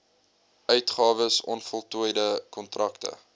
uitgawes onvoltooide kontrakte